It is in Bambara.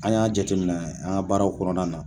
An y'a jate minɛ an ka baaraw kɔnɔna na.